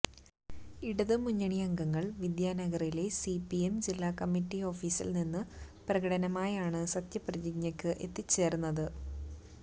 ഇടതുമുന്നണി അംഗങ്ങൾ വിദ്യാനഗറിലെ സി പി എം ജില്ലാ കമ്മറ്റി ഓഫീസിൽ നിന്ന് പ്രകടനമായാണ് സത്യപ്രതിജ്ഞക്ക് എത്തിച്ചേർന്നത്